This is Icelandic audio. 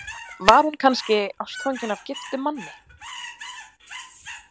Var hún kannski ástfangin af giftum manni?